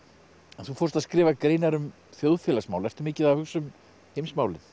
þú fórst að skrifa greinar um þjóðfélagsmál ertu mikið að hugsa um heimsmálin